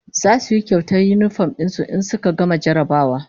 Zasu yi kyauta da yinifom din su in suka gama jarrabawa